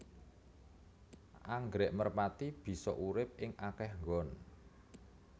Anggrèk merpati bisa urip ing akéh nggon